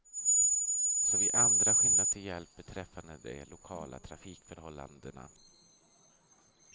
Så vi andra skyndar till hjälp beträffande de lokala trafikförhållandena.